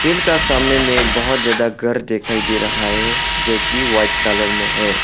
Field का सामने में बहुत ज्यादा घर दिखाई दे रहा है जोकि वाइट कलर में है।